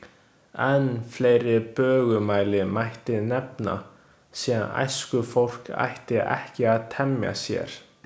Enn fleiri bögumæli mætti nefna, sem æskufólk ætti ekki að temja sér.